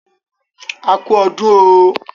A kú ọdún oooo